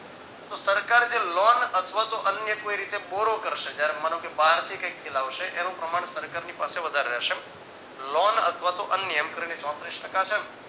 તો સરકાર જે લોન અથવા તો અન્ય કોઈ રીતે borrow કરશે જયારે માનો કે બારથી ક્યાંકથી લાવશે એનું પ્રમાણ સરકારની પાસે વધારે રહેશે લોન અથવાતો અન્ય એમકરી ને ચોત્રીસ ટકા છે